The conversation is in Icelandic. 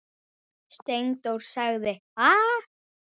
Steindór sagði: Ha?